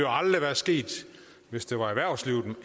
aldrig være sket hvis det var erhvervslivet